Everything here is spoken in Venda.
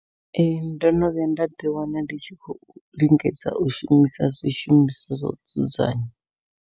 Ee ndono vhuya nda ḓi wana ndi tshi khou lingedza u shumisa zwishumiswa zwa u dzudzanya.